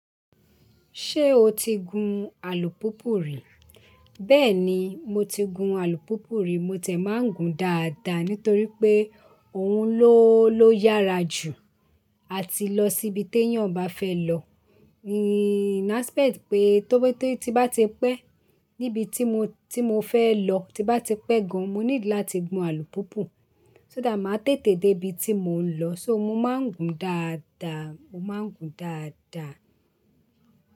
Ṣé o ti gun alùpùpù rí? Bẹ́ẹ̀ ni, mo ti gun alùpùpù rí. Mo ti ẹ́ máa ń gun dáadáa nítorí pé òun ló ló yára jù àti lọ síbi tí èèyàn bá fẹ́ lọ. In aspect pe tó bá ti pé níbi tí mo tí mo fẹ́ lọ, tí bá ti pé gan, mo need láti gun alùpùpù. So that máa tètè dé ibi tí mò ń lọ. So mo máa ń gun dáadáa, mo máa ń gun dáadáa.